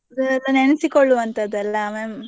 ಅದೆಲ್ಲ ನೆನೆಸಿಕೊಳ್ಳುವಂಥದ್ದಲ್ಲ mem~ .